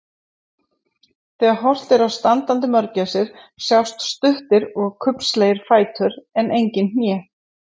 Þegar horft er á standandi mörgæsir sjást stuttir og kubbslegir fætur en engin hné.